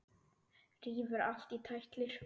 Rífur allt í tætlur.